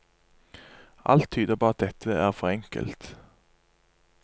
Alt tyder på at dette er for enkelt.